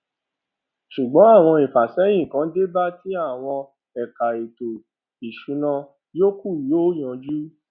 ṣùgbón àwọn ìfàsẹyìn kan dé báa tí àwọn ẹka ètò ìsúná yókù yóò yanjú